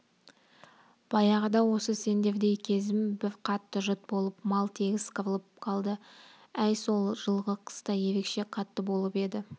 баяғыда осы сендердей кезім бір қатты жұт болып мал тегіс қырылып қалды әй сол жылғы қыс та ерекше қатты болып еді